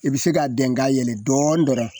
I bɛ se k'a dɛn ka yɛlɛ dɔɔnin dɔrɔn